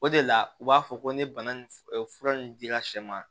O de la u b'a fɔ ko ni bana nin fura nin dira sɛ ma